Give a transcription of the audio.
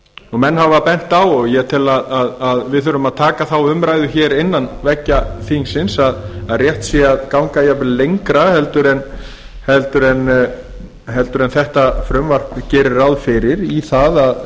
skatti menn hafa bent á og ég tel að við þurfum að taka þá umræðu innan veggja þingsins að rétt sé að ganga jafnvel lengra en þetta frumvarp gerir ráð fyrir í